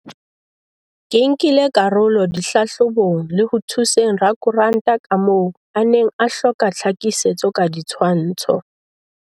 Ke nkile karolo dihlahlo bong le ho thuseng rakontra ka moo a neng a hloka tlha kisetso ka ditshwantsho.